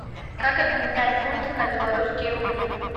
как обменять фунты на белорусские рубли